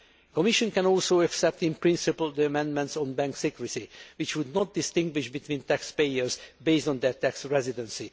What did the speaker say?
The Commission can also accept in principle the amendments on bank secrecy, which would not distinguish between taxpayers based on their tax residency.